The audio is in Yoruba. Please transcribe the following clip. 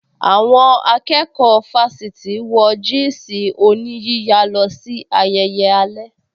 Àwọn akẹ́kọ̀ọ́ fásítì wọ jị́ị̀sị̀ oníyíya lọ sí ayẹyẹ alẹ́